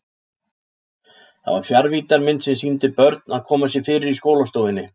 Það var fjarvíddarmynd sem sýndi börn að koma sér fyrir í skólastofunni.